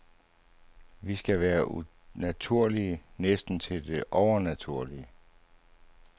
Vi skal være naturlige næsten til det overnaturlige.